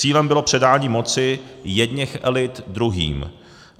Cílem bylo předání moci jedněch elit druhým.